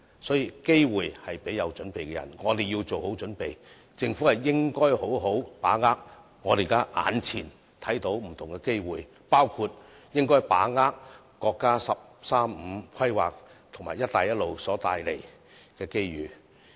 所以，機會是留給有準備的人，我們要作好準備，政府應好好把握我們目前看到不同的機會，包括把握國家"十三五"規劃及"一帶一路"所帶來的機遇。